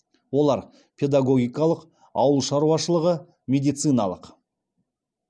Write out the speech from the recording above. олар педагогикалық ауылшаруашылығы медициналық